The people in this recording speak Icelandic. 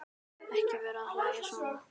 Ekki vera að hlæja svona.